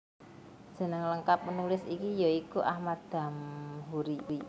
Jeneng lengkap Penulis iki ya iku Ahmad Damhoeri